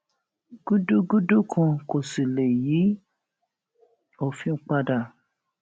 gùdùgudu kan kò sì lè yí òfin padà